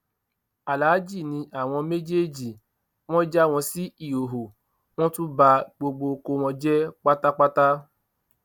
aláàjì ni àwọn méjèèjì wọn já wọn sí ìhòhò wọn tún ba gbogbo oko wọn jẹ pátápátá